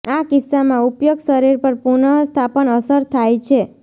આ કિસ્સામાં ઉપયોગ શરીર પર પુનઃસ્થાપન અસર થાય છે